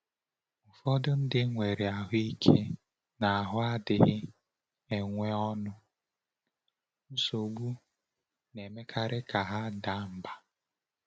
Ụfọdụ ndị nwere ahụ ike n’ahụ adịghị enwe ọṅụ, nsogbu na-emekarị ka ha daa mbà.